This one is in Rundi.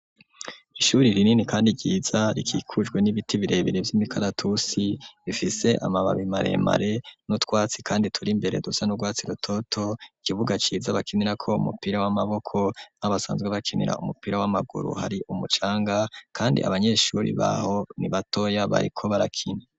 Ishuri rinini kandi ryiza rikikujwe n'ibiti birebere vy'imikaratusi bifise amababi maremare n'utwatsi kandi turi mbere dusa n'urwatsi rutoto ikibuga ciza bakinirako umupira w'amaboko naho basanzwe bakinira umupira w'amaguru hari umucanga kandi abanyeshuri baho ni batoya bariko barakine